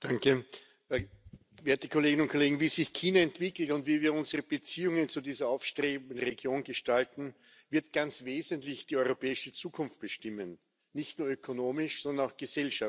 Herr Präsident, werte Kolleginnen und Kollegen! Wie sich China entwickelt und wie wir unsere Beziehungen zu dieser aufstrebenden Region gestalten, wird ganz wesentlich die europäische Zukunft bestimmen nicht nur ökonomisch, sondern auch gesellschaftlich.